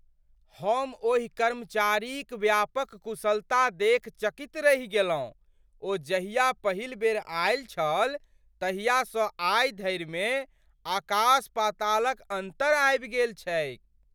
हम ओहि कर्मचारीक व्यापक कुशलता देखि चकित रहि गेलहुँ। ओ जहिया पहिल बेर आयल छल तहियासँ आइ धरिमे आकास पातालक अन्तर आबि गेल छैक।